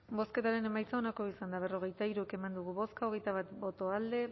bozketaren emaitza onako izan da berrogeita hiru eman dugu bozka hogeita bat boto alde